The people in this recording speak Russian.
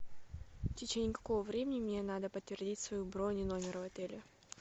в течении какого времени мне надо подтвердить свою бронь и номер в отеле